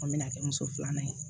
An bɛna kɛ muso filanan ye